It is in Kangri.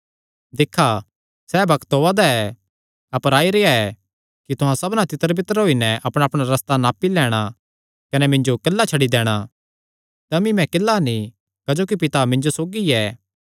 दिक्खा सैह़ बग्त ओआ दा ऐ अपर आई रेह्आ ऐ कि तुहां सबना तितरबितर होई नैं अपणाअपणा रस्ता नापी लैंणा कने मिन्जो किल्ला छड्डी दैणा तमी मैं किल्ला नीं क्जोकि पिता मिन्जो सौगी ऐ